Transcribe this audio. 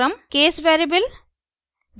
case variable